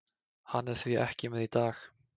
Hann er því ekki með í dag.